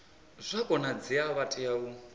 zwa konadzea vha tea u